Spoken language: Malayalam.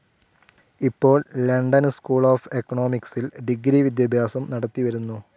ഇപ്പോൾ ലണ്ടൻ സ്കൂൾ ഓഫ്‌ എക്കണോമിക്സിൽ ഡിഗ്രി വിദ്യാഭ്യാസം നടത്തി വരുന്നു.